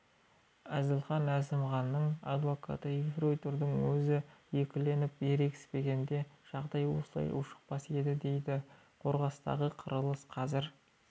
әзілхан әзімханның адвокаты ефрейтордың өзі екіленіп ерегіспегенде жағдай осылайша ушықпас еді дейді қорғастағы қырылыс қазір